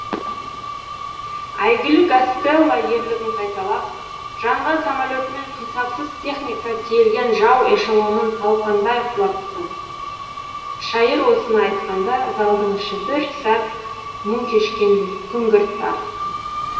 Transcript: әйгілі гастелло ерлігін қайталап жанған самолетімен қисапсыз техника тиелген жау эшелонын талқандай құлапты шайыр осыны айтқанда залдың іші бір сәт мұң кешкендей күңгірт тартты